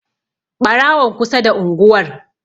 Ɓarawon kusa da unguwar.